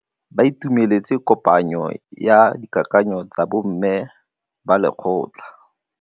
Ba itumeletse kôpanyo ya dikakanyô tsa bo mme ba lekgotla.